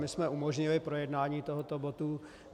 My jsme umožnili projednání tohoto bodu.